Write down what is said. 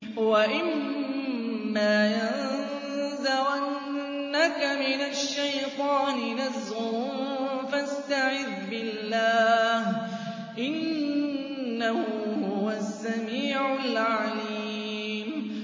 وَإِمَّا يَنزَغَنَّكَ مِنَ الشَّيْطَانِ نَزْغٌ فَاسْتَعِذْ بِاللَّهِ ۖ إِنَّهُ هُوَ السَّمِيعُ الْعَلِيمُ